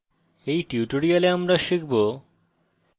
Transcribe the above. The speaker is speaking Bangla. in tutorial আমরা শিখব